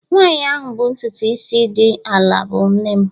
Nwanyị ahụ bụ ntutu isi dị ala bụ nne m